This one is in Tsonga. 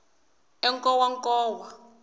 enkowankowa